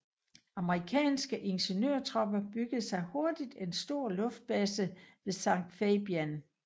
Amerikanske ingeniørtropper byggede hurtigt en stor luftbase ved San Fabian